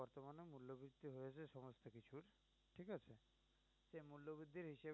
এ